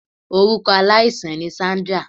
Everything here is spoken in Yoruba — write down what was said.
Orukọ alaisan ni Sandra